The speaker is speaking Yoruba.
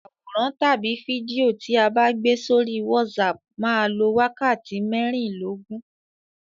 Àwòrán tàbí fídíò tí a bá gbé sórí WhatsApp máa lọ wákàtí mẹ́rìnlóógún.